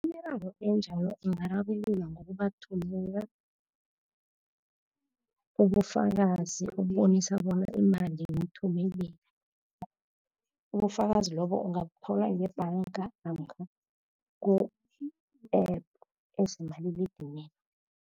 Imiraro enjalo ingararululwa ngokubathumela ubufakazi, ukubonisa bona imali uyithumelile. Ubufakazi lobo ungabuthola ngebhanga namkha ku-App ezikumaliledinini.